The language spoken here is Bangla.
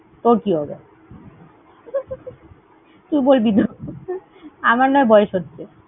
তোর কি হবে? তুই বলবি আমরা নয় বয়স হচ্ছে।